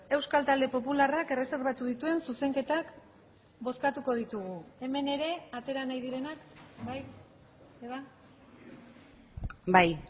euskal talde popularrak erreserbatu dituen zuzenketak bozkatuko ditugu hemen ere atera nahi direnak bai